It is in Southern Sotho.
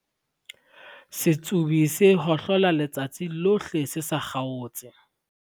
setsobi se hohlola letsatsi lohle se sa kgaotse